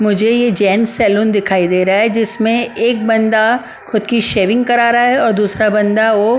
मुझे ये gents salon दिखाई दे रहा है जिसमें एक बंदा खुद की शेविंग करा रहा है और दूसरा बंदा वो --